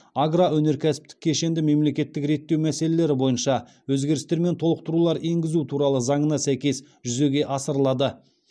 агроөнеркәсіптік кешенді мемлекеттік реттеу мәселелері бойынша өзгерістер мен толықтыру енгізу туралы заңына сәйкес жүзеге асырылады